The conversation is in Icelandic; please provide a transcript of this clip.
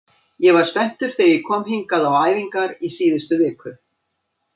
Ég var spenntur þegar ég kom hingað á æfingar í síðustu viku.